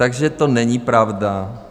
Takže to není pravda.